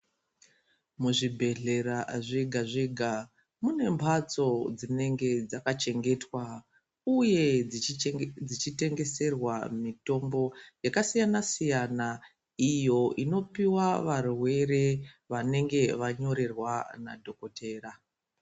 Muzvibhehlera zvega-zvega munembatso dzinenge dzakachengetwa uye dzichitengeserwa mitombo yakasiyana-siyana iyo inopiwa varwere vanenge vanyorerwa nadhokotera.